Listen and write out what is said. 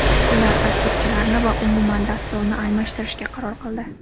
Ular dasturchilarni va umuman dasturni almashtirishga qaror qildi.